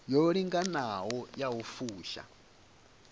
yo linganaho ya u fusha